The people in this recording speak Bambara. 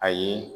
Ayi